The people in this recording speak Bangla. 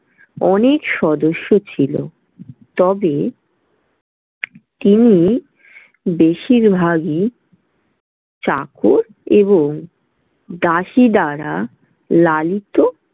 অনেক সদস্য ছিল। তবে তিনি বেশিরভাগই চাকর এবং দাসী দ্বারা লালিত।